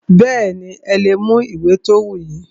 Bẹ́ẹ̀nì, ẹ lè mú ìwé ti o wù yín.